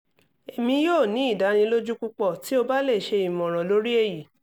emi yoo ni idaniloju pupọ ti o ba le ṣe imọran lori eyi